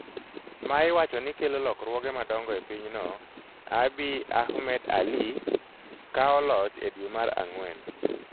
ma iwacho ni kelo lokruoge madongo e pinyno Abiy Ahmed ALi, kawo loch e dwe mar Ang'wen.